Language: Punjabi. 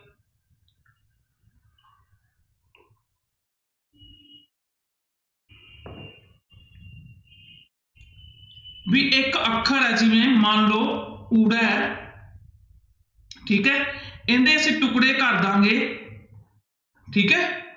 ਵੀ ਇੱਕ ਅੱਖਰ ਆ ਜਿਵੇਂ ਮੰਨ ਲਓ ਊੜਾ ਹੈ ਠੀਕ ਹੈ ਇਹਦੇ ਅਸੀਂ ਟੁਕੜੇ ਕਰ ਦੇਵਾਂਗੇ ਠੀਕ ਹੈ।